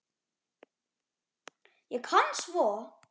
Ég kann svo